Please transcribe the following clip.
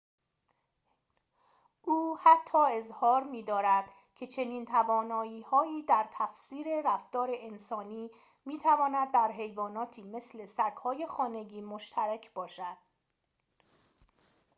او حتی اظهار می‌دارد که چنین توانایی‌هایی در تفسیر رفتار انسانی می‌تواند در حیواناتی مثل سگ‌های خانگی مشترک باشد